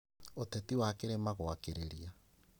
Ũteti wa kĩrĩma gwakĩrĩria